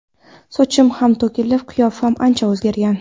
Sochim ham to‘kilib, qiyofam ancha o‘zgargan.